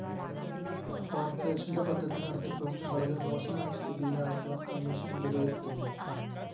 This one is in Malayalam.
കോര്‍പറേഷന്റെ പദ്ധതി നടത്തിപ്പും വളരെ മോശമായ സ്ഥിതിയിലാണെന്നു കമ്മീഷൻ വിലയിരുത്തുന്നു